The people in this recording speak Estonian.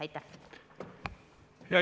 Aitäh!